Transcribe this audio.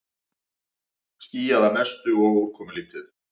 Skýjað að mestu og úrkomulítið